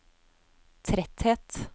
tretthet